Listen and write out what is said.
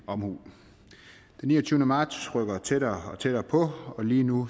omhu den niogtyvende marts rykker tættere og tættere på og lige nu